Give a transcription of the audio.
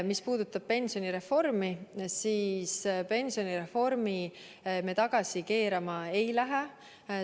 Mis puudutab pensionireformi, siis pensionireformi me tagasi keerama ei lähe.